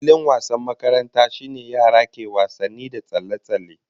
Filin wasan makaranta shine yara ke wasanni da tsalle-tsalle